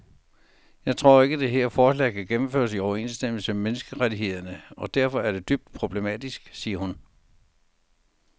Jeg tror ikke, det her forslag kan gennemføres i overensstemmelse med menneskerettighederne og derfor er det dybt problematisk, siger hun.